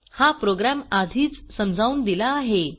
हा प्रोग्रॅम आधीच समजावून दिला आहे